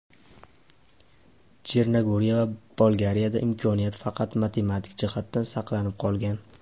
Chernogoriya va Bolgariyada imkoniyat faqat matematik jihatdan saqlanib qolgan.